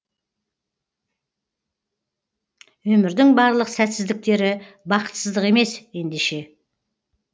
өмірдің барлық сәтсіздіктері бақытсыздық емес ендеше